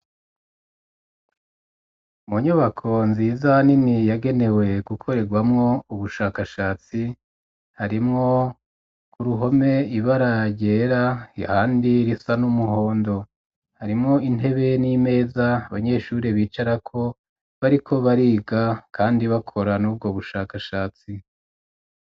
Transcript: Mu nyubako nziza nini ,yagenewe gukorerwamwo ubushakashatsi ,harimwo ku ruhome ibara ryera ,ahandi risa n'umuhondo ,harimwo intebe n'imeza, abanyeshuri bicarako bariko bariga kandi bakora n'ubwo bushakashatsi.